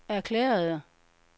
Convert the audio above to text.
erklærede